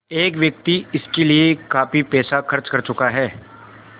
एक व्यक्ति इसके लिए काफ़ी पैसा खर्च कर चुका है